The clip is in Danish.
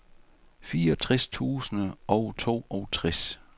fireogtres tusind og toogtres